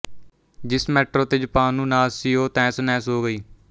ਜਿਸ ਮੈਟਰੋ ਤੇ ਜਪਾਨ ਨੂੰ ਨਾਜ਼ ਸੀ ਉਹ ਤਹਿਸਨਹਿਸ ਹੋ ਗਈ